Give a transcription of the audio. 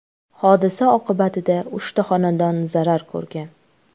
Hodisa oqibatida uchta xonadon zarar ko‘rgan.